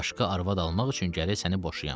Başqa arvad almaq üçün gərək səni boşayam.